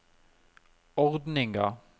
ordninga